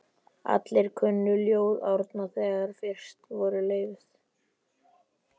Allir kunnu ljóð Árna, þegar fyrst voru leyfð